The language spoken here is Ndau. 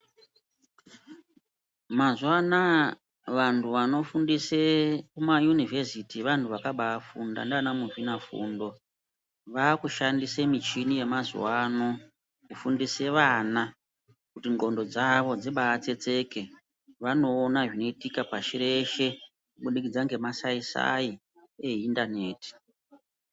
Mazuva Anaya vantu vanofundisa kumaunivheziti vantu vakaiba funda nana muzvina fundo vakushandisa muchini yemazuva ano kufundise vana kuti nqondo dzavo dzibai tsetseke vanoona zvinoitika pasi reshe kubudikidza ngemasai sai e interneti.